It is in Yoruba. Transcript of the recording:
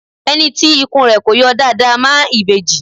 Ẹni tí ikùn rẹ kọ yọ dáadáa máa ń ìbejì